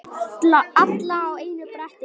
Alla á einu bretti.